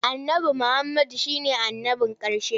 Annabi Muhammadu shi ne annabin ƙarshe.